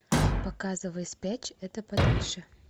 показывай спрячь это подальше